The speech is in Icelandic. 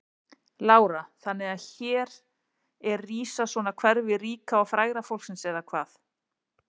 Lára: Þannig að hér er rísa svona hverfi ríka og fræga fólksins eða hvað?